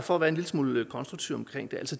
for at være en lille smule konstruktiv omkring